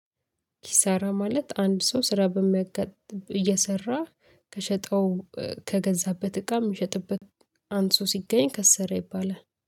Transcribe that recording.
ኪሳራ ማለት አንድ ሰው ስራ በሚያጋጥም እየሰራ ከሸጠው ከገዛበት እቃ እሚሸጥበት። አንሶ ሲገኝ ከሰረ ይባላል